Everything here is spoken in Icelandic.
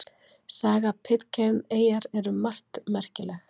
Saga Pitcairn eyjar er um margt merkileg.